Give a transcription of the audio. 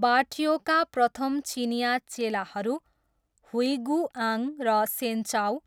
बाट्योका प्रथम चिनियाँ चेलाहरू, हुइगुआङ र सेन्चाऊ,